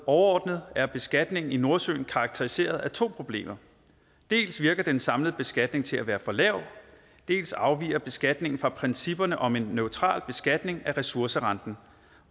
overordnet er beskatningen i nordsøen karakteriseret af to problemer dels virker den samlede beskatning til at være for lav dels afviger beskatningen fra principperne om en neutral beskatning af ressourcerenten